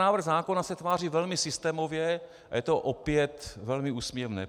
Návrh zákona se tváří velmi systémově - a je to opět velmi úsměvné.